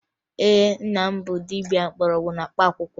Ee, nna m bụ dibia mgbọrọgwụ na mkpaakwụkwọ